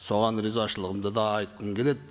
соған ризашылығымды да айтқым келеді